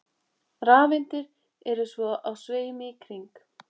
Rafeindir eru svo á sveimi í kring.